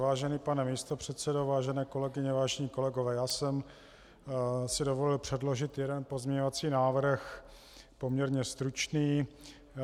Vážený pane místopředsedo, vážené kolegyně, vážení kolegové, já jsem si dovolil předložit jeden pozměňovací návrh, poměrně stručný.